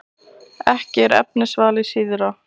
Ekki er efnisvalið síðra.